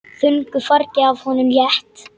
Þungu fargi af honum létt.